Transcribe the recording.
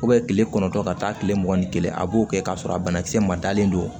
kile kɔnɔntɔn ka taa kile mugan ni kelen a b'o kɛ k'a sɔrɔ a banakisɛ ma dalen don